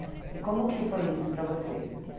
É. E como que foi isso para você?